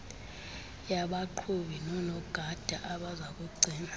yabaqhubi nonogada abazakugcina